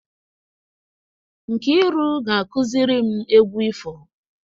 Nkiru ga akụziri m egwu ifo.